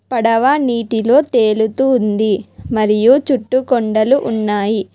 పడవ నీటిలో తేలుతుంది మరియు చుట్టుకొండలు ఉన్నాయి.